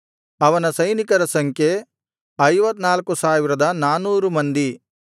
ಅವನ ಸೈನಿಕರ ಸಂಖ್ಯೆ 54400 ಮಂದಿ